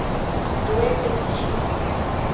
Kdo je fetišist?